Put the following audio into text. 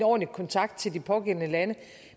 ordentlig kontakt til de pågældende lande